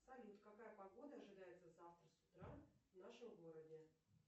салют какая погода ожидается завтра с утра в нашем городе